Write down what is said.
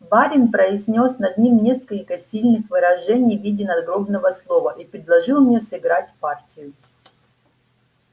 барин произнёс над ним несколько сильных выражений в виде надгробного слова и предложил мне сыграть партию